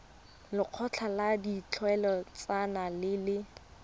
lekgotla la ditlhaeletsano le le